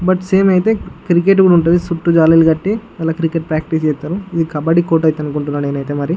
But సమె అయితే cricket కూడా వుంటది చుట్టూ జల్లి లు అట్టి వాళ్ళు క్రికెట్ ప్రాక్టీస్ చేస్తారు ఇది కబడ్డీ కోర్టు అని నేను అనుకుంటునాను.